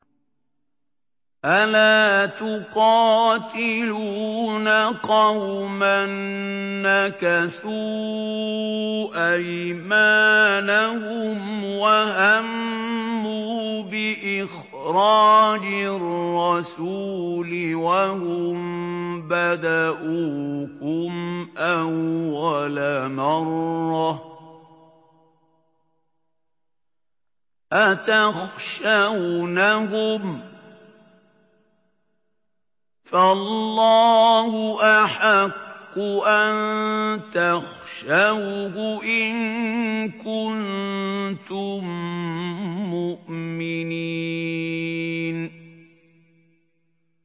أَلَا تُقَاتِلُونَ قَوْمًا نَّكَثُوا أَيْمَانَهُمْ وَهَمُّوا بِإِخْرَاجِ الرَّسُولِ وَهُم بَدَءُوكُمْ أَوَّلَ مَرَّةٍ ۚ أَتَخْشَوْنَهُمْ ۚ فَاللَّهُ أَحَقُّ أَن تَخْشَوْهُ إِن كُنتُم مُّؤْمِنِينَ